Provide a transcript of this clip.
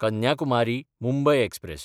कन्याकुमारी–मुंबय express